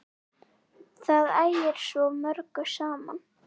Það ægir svo mörgu saman.